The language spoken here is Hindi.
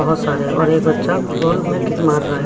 बहोत सारे और एक बच्चा फुटबॉल में किक मार रहा है।